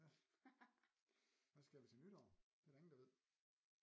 Ja hvad skal vi til nytår det er der ingen der ved